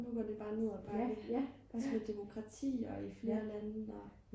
og nu går det bare nedad bakke også med demokratier i flere lande og